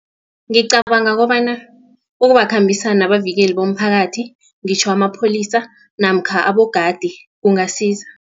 Ngicabanga kobana ukubambisana nabavikeli bomphakathi ngitjho amapholisa namkha abogadi kungasiza.